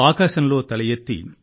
ఆకాశంలో తల ఎత్తి